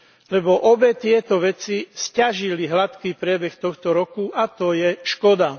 Lebo obe tieto veci sťažili hladký priebeh tohto roku a to je škoda.